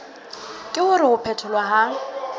ke hore ho phetholwa ha